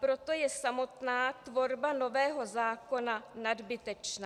Proto je samotná tvorba nového zákona nadbytečná.